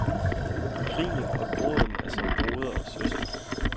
Grinet og gråden er som broder og søster.